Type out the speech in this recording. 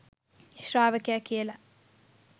ශ්‍රාවකයා කියල.